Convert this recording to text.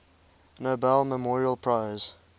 nobel memorial prize